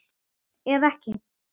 Eða ekki?